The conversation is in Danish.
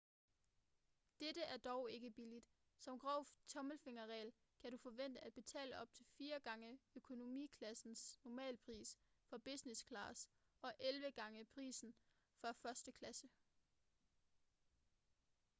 dette er dog ikke billigt som grov tommelfingerregel kan du forvente at betale op til fire gange økonomiklassens normalpris for business-class og elleve gange prisen for første klasse